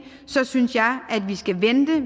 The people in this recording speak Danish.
synes jeg at vi skal vente